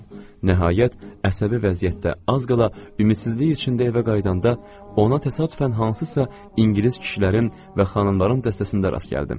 Nəhayət, əsəbi vəziyyətdə, az qala ümidsizlik içində evə qayıdanda ona təsadüfən hansısa ingilis kişilərin və xanımların dəstəsində rast gəldim.